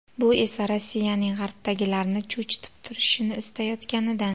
Bu esa Rossiyaning G‘arbdagilarni cho‘chitib turishini istayotganidan.